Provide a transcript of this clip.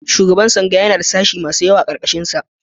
Shugaban tsangaya yana da sashi masu yawa a ƙarƙarshinsa.